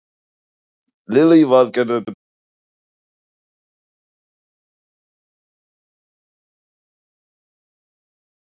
Lillý Valgerður Pétursdóttir: Er í lagi fyrir fólk að setja grísakjöt á grillið í kvöld?